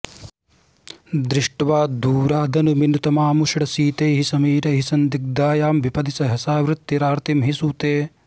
दृष्ट्वा दूरादनुमिनुतमामुष्णशीतैः समीरैः सन्दिग्धायां विपदि सहसावृत्तिरार्तिं हि सूते